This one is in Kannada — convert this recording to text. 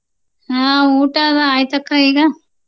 ಹ್ಮ ಊಟಾವಾ ಆಯ್ತಕ್ಕಾ ಈಗ.